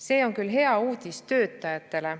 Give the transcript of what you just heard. See on küll hea uudis töötajatele.